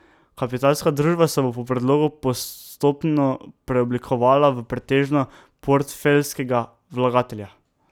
Kapitalska družba se bo po predlogu postopno preoblikovala v pretežno portfeljskega vlagatelja.